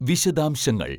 വിശദാംശങ്ങൾ